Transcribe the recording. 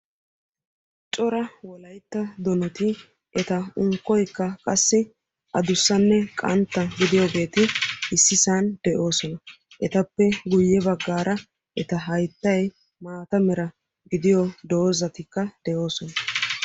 Cora wolaytta donati eta unkkoykka qassi adussanne qantta gidiyageeti issi sohuwan de'oosona. Etappe guye baggaara eta hayttay maata mera gidiyo doozatikka de'oosona.